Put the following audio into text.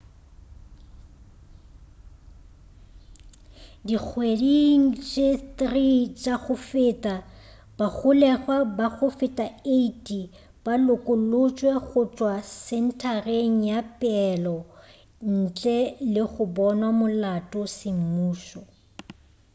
dikgweding tše 3 tša go feta bagolegwa ba go feta 80 ba lokolotšwe go tšwa sentareng ya peelo ntle le go bonwa molato semmušo